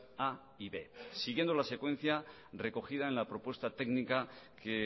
a y b siguiendo la secuencia recogida en la propuesta técnica que